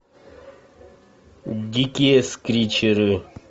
дикие скричеры